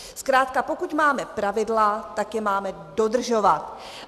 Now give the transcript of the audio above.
Zkrátka pokud máme pravidla, tak je máme dodržovat.